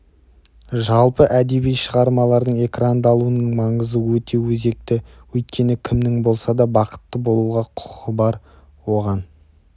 жалпы әдеби шығармалардың экрандалуының маңызы өте өзекті өйткені кімнің болса да бақытты болуға құқы бар оған